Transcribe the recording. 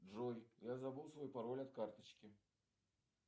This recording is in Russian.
джой я забыл свой пароль от карточки